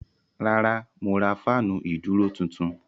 Rárá mo ra fáànù ìdúró tuntun.